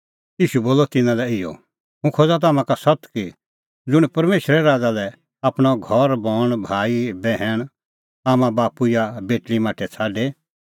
ईशू बोलअ तिन्नां लै इहअ हुंह खोज़ा तम्हां का सत्त कि ज़ुंण परमेशरे राज़ा लै आपणअ घरबण भाईबैहण आम्मांबाप्पू या बेटल़ीमाठै छ़ाडे